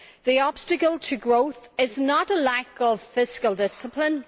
The obstacle to growth is not a lack of fiscal discipline.